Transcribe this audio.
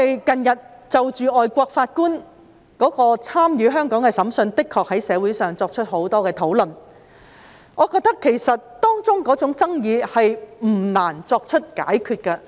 近日，就外籍法官參與香港的審訊，社會上的確有很多討論，我認為當中的爭議不難作出解決。